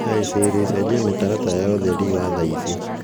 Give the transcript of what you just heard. hi sisri cenjia mĩtaratara ya ũtheri wa thaa ici